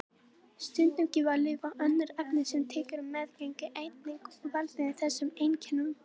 Stundum geta lyf og önnur efni sem tekin eru á meðgöngu einnig valdið þessum einkennum.